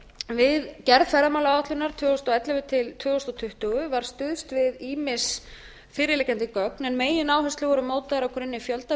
við gerð ferðamálaáætlunar tvö þúsund og ellefu til tvö þúsund tuttugu var stuðst við ýmis fyrirliggjandi gögn en megináherslur voru mótaðar á grunni fjöldaviðtala